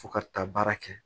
Fo ka taa baara kɛ